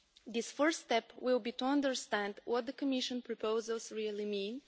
The first step will be to understand what the Commission proposals really mean.